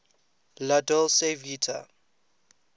la dolce vita